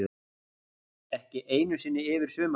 Ekki einu sinni yfir sumartímann.